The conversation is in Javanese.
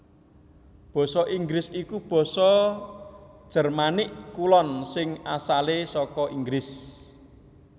Basa Inggris iku basa Jermanik Kulon sing asalé saka Inggris